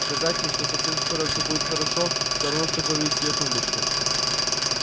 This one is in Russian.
сказать ей что совсем скоро всё будет хорошо всё равно что говорить с её тумбочкой